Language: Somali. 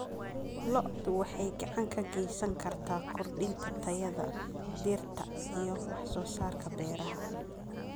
Lo'du waxay gacan ka geysan kartaa kordhinta tayada dhirta iyo wax soo saarka beeraha.